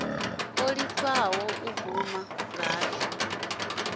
o ṱalifha u guma ngafhi